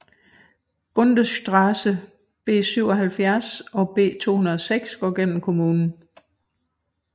Bundesstraße B77 og B206 går gennem kommunen